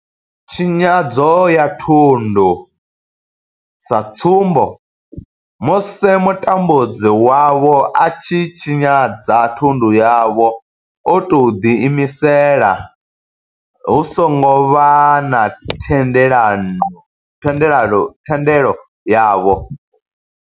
Tshinyadzo ya thundu, sa tsumbo, musi mutambudzi wavho a tshi tshinyadza thundu yavho o tou ḓiimisela hu songo vha na thendelo yavho.